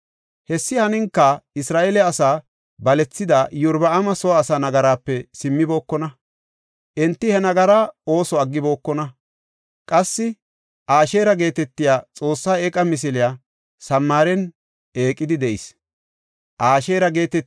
Hessi haninka Isra7eele asaa balethida Iyorbaama soo asaa nagaraape simmibokona; enti he nagaraa ooso aggibokona. Qassi Asheera geetetiya xoosse eeqa misiley Samaaren eqidi de7ees.